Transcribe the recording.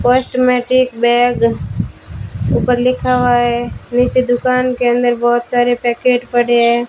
Cosmetic bag ऊपर लिखा हुआ है नीचे दुकान के अंदर बहोत सारे पैकेट पड़े हैं।